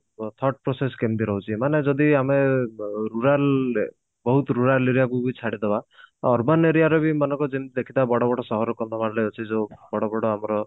thought process କେମତି ରହୁଛି ମାନେ ଯଦି ଆମେ ଅ ବ rural ବହୁତ rural aria କୁ ବି ଛାଡି ଦେବା urban aria ର ମାନଙ୍କ ଯେମତି ଦେଖିଥିବା ବଡ ବଡ ସହର କନ୍ଧମାଳରେ ଅଛି ଯୋଉ ବଡ ବଡ ଆମର